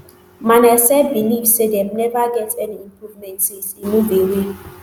manasseh believe say dem never get any improvement since e move away